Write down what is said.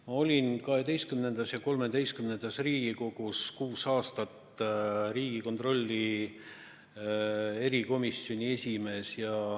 Ma olin XII ja XIII Riigikogus kuus aastat riigikontrolli erikomisjoni esimees.